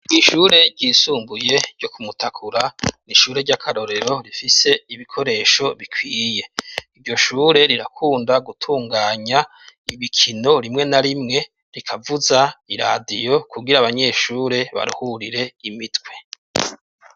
Ishure ryisumbuye ryo kumutakura, n'ishure ryakarorero rifise ibikoresho bikwiye, iryoshure rirakunda gutunganya ibikino rimwe na rimwe rikavuza iradiyo kugira abanyeshure baruhurire imitwe.